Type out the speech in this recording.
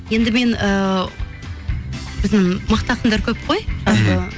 енді мен ііі біздің мықты ақындар көп қой